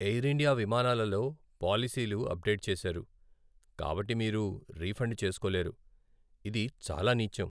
Air India విమానాలలో పాలసీలు update చేశారు, కాబట్టి మీరు రీఫండ్ చేస్కోలేరు, ఇది చాలా నీచం.